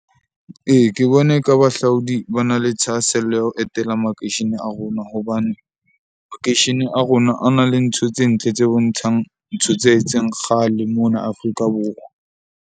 Ee, ke bona eka bahlaodi ba na le thahasello ya ho etela makeishene a rona, hobane makeishene a rona a na le ntho tse ntle, tse bontshang ntho tse entseng kgale mona Afrika Borwa.